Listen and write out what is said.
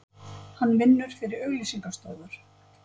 Hann vinnur fyrir auglýsinga stofur.